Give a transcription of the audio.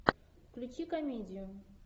включи комедию